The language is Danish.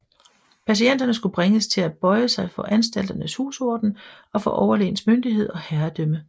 Patienterne skulle bringes til at bøje sig for anstalternes husorden og for overlægens myndighed og herredømme